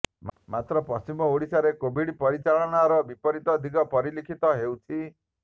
ମାତ୍ର ପଶ୍ଚିମ ଓଡିଶାରେ କୋଭିଡ୍ ପରିଚାଳନାର ବିପରୀତ ଦିଗ ପରିଲକ୍ଷିତ ହୋଇଛି